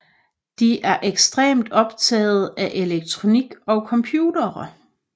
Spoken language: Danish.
De er ekstremt optagede af elektronik og computere